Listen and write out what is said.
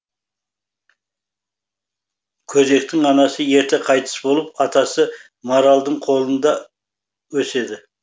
көдектің анасы ерте қайтыс болып атасы маралдың қолында өседі